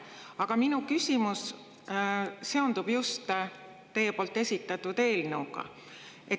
Aga minu küsimus seondub teie esitatud eelnõuga.